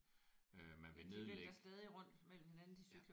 De vælter stadig rundt mellem hinanden de cykler ude foran der